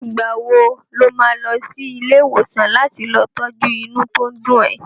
Ìgbà wo lo má lọ sí ilé ìwòsàn láti lọ tọ́jú inú tó ń dùn ẹ?